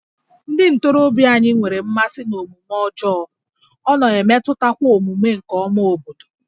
Ndị ntorobịa anyị nwere mmasị n'omume ọjọọ, ọ na-emetụtakwa omume ọma nke obodo